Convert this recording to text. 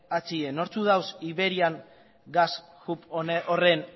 atzean nortzuk daude iberian gas hub horren